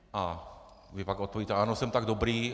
A vy pak odpovíte: Ano, jsem tak dobrý.